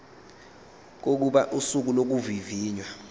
kokuba usuku lokuvivinywa